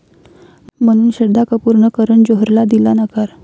...म्हणून श्रद्धा कपूरनं करण जोहरला दिला नकार